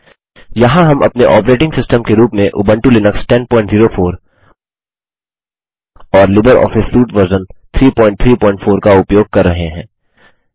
यहाँ हम अपने ऑपरेटिंग सिस्टम के रूप में उबंटु लिनक्स 1004 और लिबर ऑफिस सूट वर्जन 334 का उपयोग कर रहे हैं